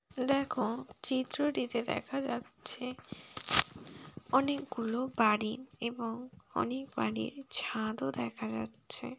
দেখো চিত্রটিতে দেখা যাচ্ছে অনেকগুলো বাড়ি এবং অনেক বাড়ির ছাদও দেখা যাচ্ছে।